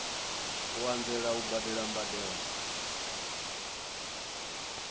u anzela u badela mbadelo